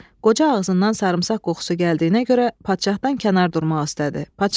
Qoca ağzından sarımsaq qoxusu gəldiyinə görə padşahdan kənar durmaq istədi.